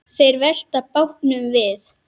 Þeir velta bátnum við.